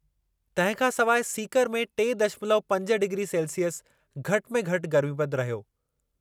तंहिं खां सवााइ सीकर में टे दशमलव पंज डिग्री सेल्सिअस घटि में घटि गर्मीपदु रहियो